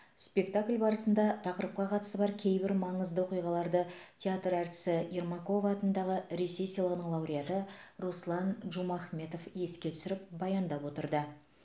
спектакль барысында тақырыпқа қатысы бар кейбір маңызды оқиғаларды театр әртісі ермакова атындағы ресей сыйлығының лауреаты руслан джумахметов еске түсіріп баяндап отырды